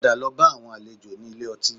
Padà lọ bá àwọn àlejò ní ilé ọtí